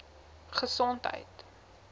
gesondheid